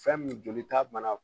Fɛn min jolita bana